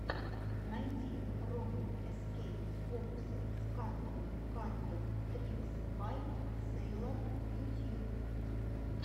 найди роммель эскей фокусы с картами кард трикс бай сэйлор ютьюб